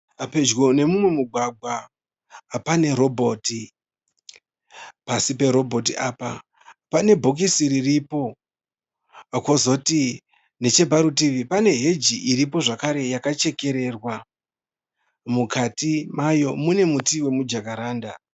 Pedyo nemumwe mugwagwa pane robhoti. Pasi perobhoti apa pane bhokisi riripo. Kozoti necheparutivi pane heji iripo zvakare yakachekererwa. Mukati mayo mune muti wemujakaranda.